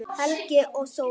Helgi og Þórunn.